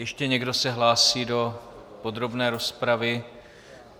Ještě někdo se hlásí do podrobné rozpravy?